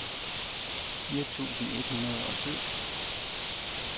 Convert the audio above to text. fire tusind et hundrede og syv